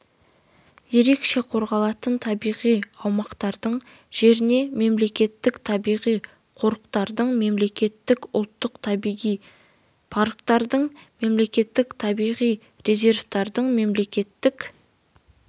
ерекше қорғалатын табиғи аумақтардың жеріне мемлекеттік табиғи қорықтардың мемлекеттік ұлттық табиғи парктердің мемлекеттік табиғи резерваттардың мемлекеттік